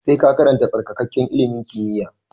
Sai ka karanta tsarkakakke ilimin kimiyya!